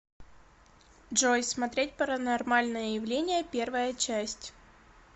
джой смотреть паранормальное явление первая часть